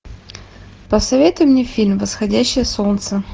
посоветуй мне фильм восходящее солнце